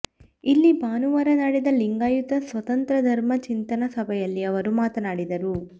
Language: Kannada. ಇಲ್ಲಿ ಭಾನುವಾರ ನಡೆದ ಲಿಂಗಾಯತ ಸ್ವತಂತ್ರ ಧರ್ಮ ಚಿಂತನಾ ಸಭೆಯಲ್ಲಿ ಅವರು ಮಾತನಾಡಿದರು